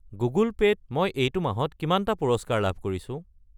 Google Pay ত মই এইটো মাহত কিমানটা পুৰস্কাৰ লাভ কৰিছো?